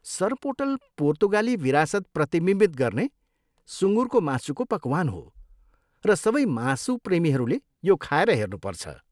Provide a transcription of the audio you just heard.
सोरपोटेल पोर्तुगाली विरासत प्रतिबिम्बित गर्ने सुँगुरको मासुको पकवान हो र सबै मासु प्रेमीहरूले यो खाएर हेर्नुपर्छ।